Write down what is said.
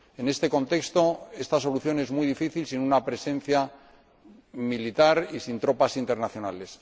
En este contexto, esta solución es muy difícil sin una presencia militar y sin tropas internacionales.